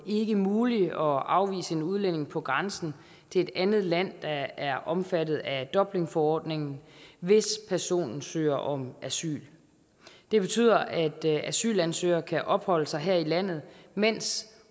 ikke muligt at afvise en udlænding på grænsen til et andet land der er omfattet af dublinforordningen hvis personen søger om asyl det betyder at asylansøgere kan opholde sig her i landet mens